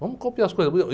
Vamos copiar as coisas boas.